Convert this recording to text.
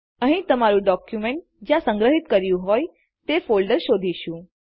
અહીં તમારું ડોક્યુમેન્ટ જ્યાં સંગ્રહિત કર્યું હોય તે ફોલ્ડર શોધીશું